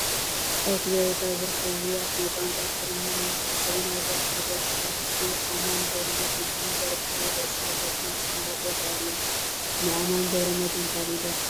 ኣብ ትግራይ ካብ ዝርከቡ ውሩያት ናይ ቋንቋ ትግርኛን ናይዚ ሕዚ ዘበናዊ ደርፊ ዝደርፉ ደረፍትን ኣማን ገ/ድህን ሚዘር ብዝብል ርእሳ ደርፊ ዝፍለጥ ይረአ ኣሎ፡፡ ናይ ኣማን ገ/ድህን ካሊእ ደርፊ ኸ ትፈለጡ ዶ?